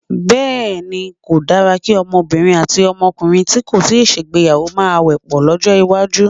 Bé̩è̩ni, kò dára kí o̩mo̩bìnrin àti o̩mo̩kùnrin tí kò tíì gbéyàwó máa wè̩ pò̩ ló̩jó̩̩ iwájú.